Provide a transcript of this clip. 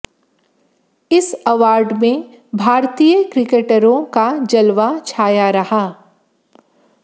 इस अवॉर्ड में भारतीय क्रिकेटरों का जलवा छाया रहा